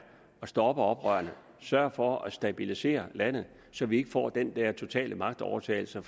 at stoppe oprørerne sørge for at stabilisere landet så vi ikke får den dér totale magtovertagelse